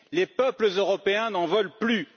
Les peuples européens n'en veulent plus.